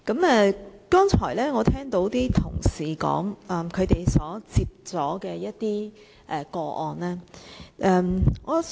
我剛才聽到同事提及他們接獲的個案。